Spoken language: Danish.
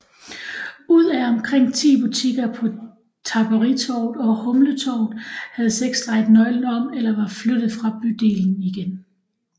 Ud af omkring ti butikker på Tapperitorvet og Humletorvet havde seks drejet nøglen om eller var flyttet fra bydelen igen